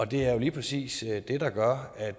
det er jo lige præcis det der gør at